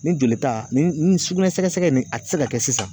Ni joli ta ni sugunɛ sɛgɛsɛgɛ nin a ti se ka kɛ sisan